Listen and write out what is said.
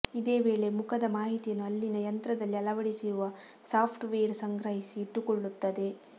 ಇದೇ ವೇಳೆ ಮುಖದ ಮಾಹಿತಿಯನ್ನು ಅಲ್ಲಿನ ಯಂತ್ರದಲ್ಲಿ ಅಳವಡಿಸಿರುವ ಸಾಫ್ಟ್ ವೇರ್ ಸಂಗ್ರಹಿಸಿ ಇಟ್ಟುಕೊಳ್ಳುತ್ತದೆ